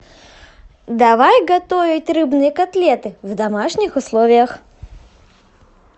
давай готовить рыбные котлеты в домашних условиях